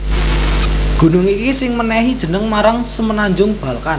Gunung iki sing mènèhi jeneng marang Semenanjung Balkan